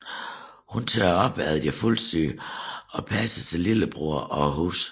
Hun tørrede op efter deres fuldesyge og passede sin lillebror og huset